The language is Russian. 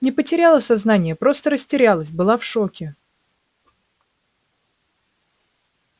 не потеряла сознание просто растерялась была в шоке